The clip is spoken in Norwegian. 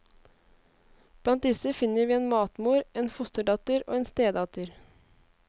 Blant disse finner vi en matmor, en fosterdatter og en stedatter.